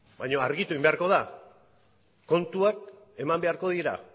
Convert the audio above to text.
baino argitu egin beharko da kontuak eman beharko dira